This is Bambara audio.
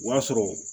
O y'a sɔrɔ